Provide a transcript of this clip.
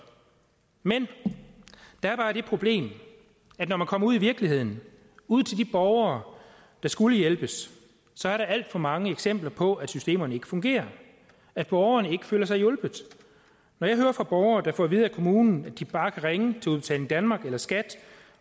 men der er bare det problem at når man kommer ud i virkeligheden ud til de borgere der skulle hjælpes så er der alt for mange eksempler på at systemerne ikke fungerer at borgerne ikke føler sig hjulpet jeg hører fra borgere der får at vide af kommunen at de bare kan ringe til udbetaling danmark eller skat